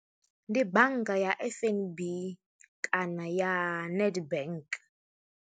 Ndi bannga ya F_N_B kana ya Nedbank.